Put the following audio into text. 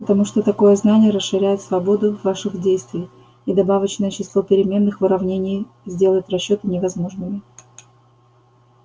потому что такое знание расширяет свободу ваших действий и добавочное число переменных в уравнении сделает расчёты невозможными